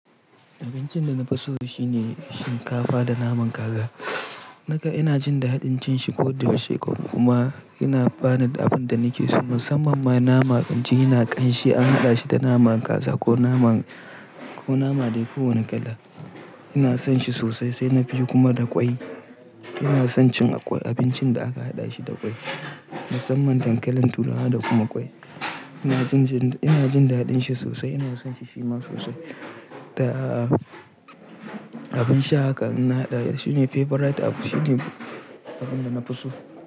Abincin da na fi so shine shinkafa da naman kaza. Naga ina jin daɗin cin shi ko da wa shekaru kuma yana bani da abin da nake so. Musamman ma naman abinci ina ƙanshi an haɗa shi da naman kaza ko nama, ko nama da yafi wani kala. Ina son shi sosai sai na fi kuma da ƙwai. Musamman ma naman inji ƙanshi an haɗa shi da naman kaza ko nama, ko nama da yafi wani kala. Musamman dankalin turawa da kuma ƙwai. Ina son shi sosai sai na fi kuma da ƙwai. Ina son cin abincin da aka haɗa shi da ƙwai.